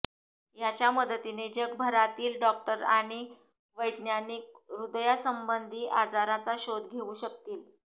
याच्या मदतीने जगभरातील डॉक्टर आणि वैज्ञानिक हृदयासंबंधी आजारांचा शोध घेऊ शकतील